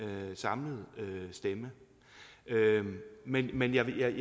samlet stemme men men jeg vil